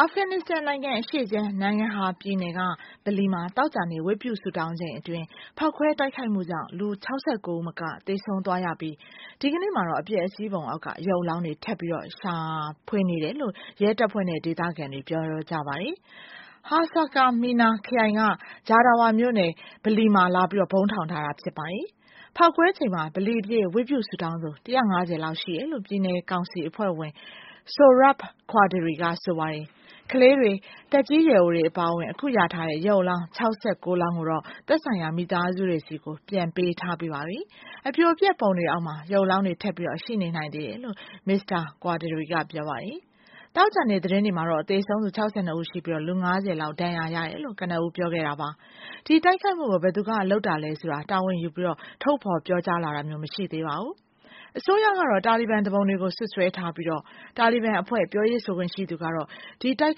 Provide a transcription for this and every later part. အာဖဂန်နစ္စတန်နိုင်ငံအရှေ့ခြမ်း Nangarhar ပြည်နယ်က ဗလီမှာ သောကြာနေ့ ဝတ်ပြုဆုတောင်းချိန်အတွင်း ဖောက်ခွဲတိုက်ခိုက်မှုကြောင့် လူ ၆၉ ဦးမက သေဆုံးသွားရပြီး ဒီကနေ့မှာတော့ အပျက်အစီးပုံအောက်မှာ ရုပ်အလောင်းတွေ ထပ်ပြီးတော့ ရှာတွေ့ဖို့ ရဲတပ်ဖွဲ့နဲ့ ဒေသခံတွေ လုပ်ဆောင်နေကြပါတယ်။ Haskamena ခရိုင် Jawdara မြို့နယ်က ဗလီထဲမှာ လာပြီးတော့ ဗုံးထောင်ထားတာ ဖြစ်ပါတယ်။ ဖောက်ခွဲချိန်မှာ ဗလီအပြည့် ဝတ်ပြုဆုတောင်းသူ ၁၅၀ လောက် ရှိတယ်လို့ ပြည်နယ်ကောင်စီ အဖွဲ့ဝင် Sohrab Qaderi က ပြောပါတယ်။ ကလေးတွေ၊ သက်ကြီးရွယ်အိုတွေ အပါအဝင် အခုရထားတဲ့ ရုပ်အလောင်း ၆၉ လောင်းကိုတော့ သက်ဆိုင်ရာ မိသားစုတွေဆီ ပြန်ပေးထားပြီးပါပြီ။ အပြိုအပျက်ပုံတွေအောက်မှာ ရုပ်အလောင်းတွေ ထပ်ပြီးတော့ ရှိနေနိုင်သေးတယ်လို့ Mr. Qaderi က ပြောပါတယ်။ သောကြာနေ့ သတင်းတွေမှာတော့ သေဆုံးသူ ၆၂ ဦးရှိပြီး လူ ၅၀ လောက် ဒဏ်ရာရတယ်လို့ ပြောပါတယ်။ ဒီတိုက်ခိုက်မှုကို ဘယ်သူကလုပ်တာလဲဆိုတာ တာဝန်ယူပြီး ထုတ်ဖော်ပြောကြားလာတာမျိုး မရှိသေးပါဘူး။ အစိုးရကတော့ တာလီဘန်သူပုန်တွေကို စွပ်စွဲထားပြီး တာလီဘန်အဖွဲ့ ပြောရေးဆိုခွင့်ရှိသူကတော့ ဒီတိုက်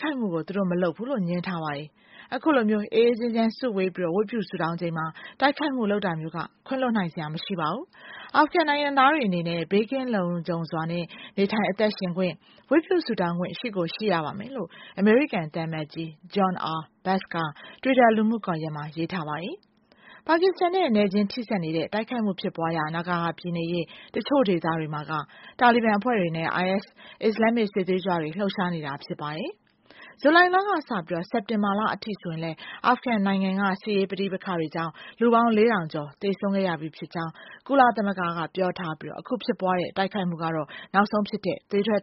ခိုက်မှုကို သူတို့မလုပ်ဘူးလို့ ငြင်းထားပါတယ်။ အခုလိုမျိုး အေးအေးချမ်းချမ်း စုဝေးပြီး ဝတ်ပြုဆုတောင်းချိန်မှာ တိုက်ခိုက်မှုလုပ်တာမျိုးက ခွင့်လွှတ်နိုင်စရာ မရှိပါဘူး၊ အာဖဂန်နိုင်ငံသားတွေအနေနဲ့ လုံခြုံဘေးကင်းစွာနဲ့ နေထိုင်အသက်ရှင်ခွင့်၊ ဝတ်ပြုဆုတောင်းခွင့် ရှိကိုရှိရပါမယ်လို့ အမေရိကန်သံအမတ်ကြီး John R Bass က တွစ်တာ လူမှုကွန်ရက်မှာ ရေးထားပါတယ်။ ပါကစ္စတန်နဲ့ နယ်ချင်းထိစပ်နေတဲ့ တိုက်ခိုက်မှုဖြစ်ပွားရာ နာဂါဟာပြည်နယ်ရဲ့ တချို့ဒေသတွေမှာ တာလီဘန်အဖွဲ့တွေနဲ့ IS အစ္စလာမ္မစ် စစ်သွေးကြွတွေ လှုပ်ရှားနေကြတာ ဖြစ်ပါတယ်။ ဇူလိုင်လကစပြီးတော့ စက်တင်ဘာအထိဆိုရင် အာဖဂန်နိုင်ငံက စစ်ရေးပဋိပက္ခတွေကြောင့် လူပေါင်း ၄ ထောင်ကျော် သေဆုံးခဲ့ရပြီးဖြစ်ကြောင်း ကုလသမဂ္ဂကပြောပြီး ဒီတိုက်ခိုက်မှုက နောက်ဆုံးဖြစ်တဲ့ သွေးထွက်